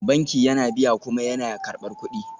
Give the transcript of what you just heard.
Banki yana biya kuma yana karɓar kuɗi